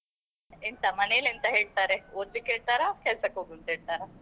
ಎಂತ ಮನೇಲಿ ಎಂತ ಹೇಳ್ತಾರೆ ಓದಲಿಕ್ಕೆ ಹೇಳ್ತಾರಾ ಕೆಲಸಕ್ಕೆ ಹೋಗು ಅಂತ ಹೇಳ್ತಾರ?